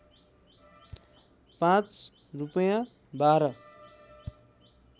पाँच रूपैयाँ बाह्र